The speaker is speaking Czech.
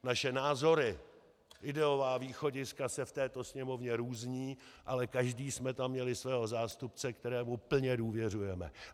Naše názory, ideová východiska se v této Sněmovně různí, ale každý jsme tam měli svého zástupce, kterému plně důvěřujeme.